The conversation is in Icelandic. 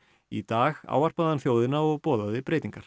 í dag ávarpaði hann þjóðina og boðaði breytingar